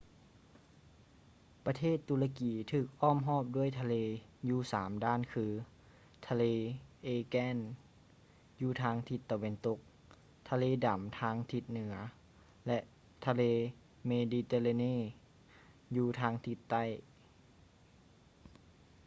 ປະເທດຕຸລະກີຖືກອ້ອມຮອບດ້ວຍທະເລຢູ່ສາມດ້ານຄື: ທະເລ aegean ຢູ່ທາງທິດຕາເວັນຕົກ ທະເລດຳທາງທິດເໜືອ ແລະ ທະເລເມດີແຕຣາເນ mediterranean ຢູ່ທາງທິດໃຕ້